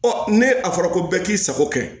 ne a fɔra ko bɛɛ k'i sago kɛ